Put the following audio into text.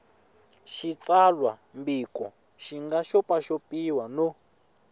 xitsalwambiko xi nga xopaxopiwa no